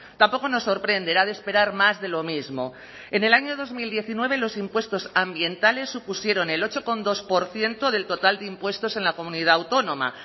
tampoco nos sorprende era de esperar más de lo mismo en el año dos mil diecinueve los impuestos ambientales supusieron el ocho coma dos por ciento del total de impuestos en la comunidad autónoma